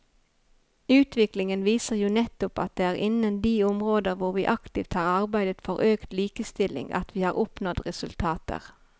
Utviklingen viser jo nettopp at det er innen de områder hvor vi aktivt har arbeidet for økt likestilling at vi har oppnådd resultater.